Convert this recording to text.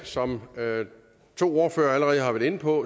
som to ordførere allerede har været inde på